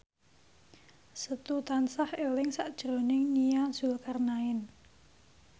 Setu tansah eling sakjroning Nia Zulkarnaen